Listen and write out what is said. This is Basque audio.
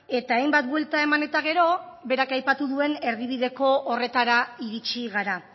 eta hainbat buelta eman eta gero berak aipatu duen erdibideko horretara iritsi gara